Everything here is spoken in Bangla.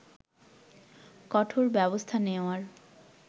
কঠোর ব্যবস্থা নেওয়ার